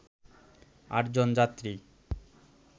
আটজন যাত্রী